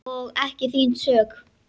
Og ekki þín sök.